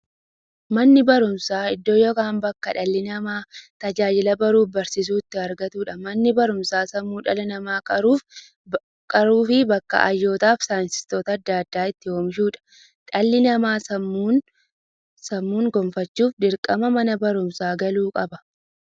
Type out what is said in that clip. Manni baruumsaa iddoo yookiin bakkee dhalli namaa tajaajila baruufi barsiisuu itti argatuudha. Manni baruumsaa sammuu dhala namaa qaruufi bakka hayyootafi saayintistoota adda addaa itti oomishuudha. Dhalli namaa sammuun gufachuuf, dirqama Mana baruumsaa galuu qaba.